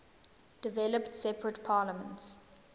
developed separate parliaments